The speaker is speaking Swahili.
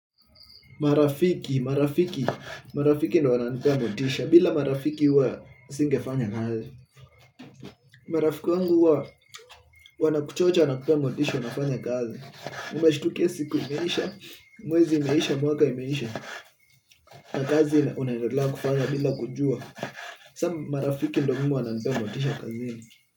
Marafiki, marafiki, marafiki ndio wananipea motisha, bila marafiki huwa singefanya kazi. Marafiki wangu huwa wanakuchochea na kukupa motisha, unanafanya kazi. Nimeshtukia siku imeisha, mwezi umeisha, mwaka umeisha, na kazi unaendelea kufanya bila kujua. Sasa marafiki ndio mimi wananipea motisha kazini.